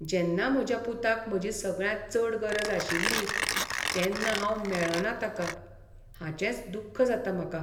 जेन्ना म्हज्या पुताक म्हजी सगळ्यांत चड गरज आशिल्ली तेन्ना हांव मेळ्ळों ना ताका, हाचेंच दुख्ख जाता म्हाका.